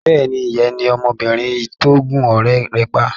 Bẹ́ẹ̀ni, ìyẹn ni ọmọbìnrin tó gún ọ̀rẹ́ rẹ̀ pa.